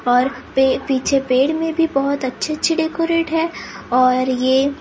और पे पीछे पेड़ में भी बहुत अच्छे अच्छे डेकोरेट हैं और ये।